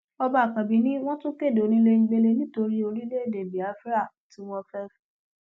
ọba àkànbí ni wọn tún kéde onílégbélé nítorí orílẹèdè biafra tí wọn ń fẹ